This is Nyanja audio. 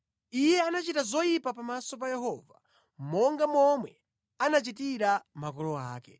Iye anachita zoyipa pamaso pa Yehova monga momwe anachitira makolo ake.